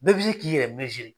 Bɛɛ bi se k'i yɛrɛ